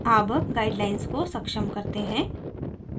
अब guidelines को सक्षम करते हैं